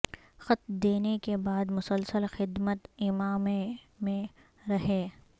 خط دینے کے بعد مسلسل خدمت امام ع میں رہے